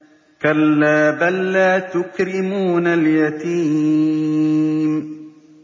كَلَّا ۖ بَل لَّا تُكْرِمُونَ الْيَتِيمَ